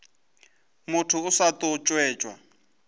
motho o sa tlo ntšhetšwa